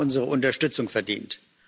Sie haben unsere Unterstützung verdient.